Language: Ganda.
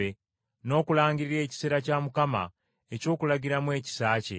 n’okulangirira ekiseera kya Mukama eky’okulagiramu ekisa kye.”